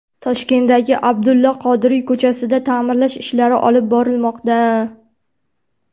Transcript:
Toshkentdagi Abdulla Qodiriy ko‘chasida ta’mirlash ishlari olib borilmoqda.